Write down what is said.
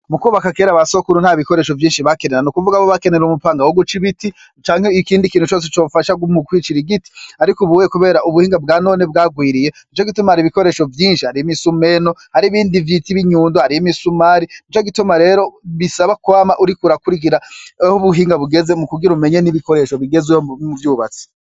Mukwubaka kera abasokuru ntabikoresho vyinshi bakenera. Nukuvuga bobo bakenera umupanga woguc'ibiti canke ikindi kintu cose cofasha mukwicira igiti. Ariko ubuye kubera ubuhinga bwanone bwagwiriye Nicogituma har'ibikoresho vyinshi; har'imisumeno, har'ibindi vyit'inyundo, har'imisumari. Nicogituma rero bisaba kwama uriko urakurikirana ah'ubuhinga bugeze mukugira umenye n'ibikoresho bigezweho mu bwubatsi.